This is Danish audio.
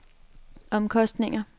omkostninger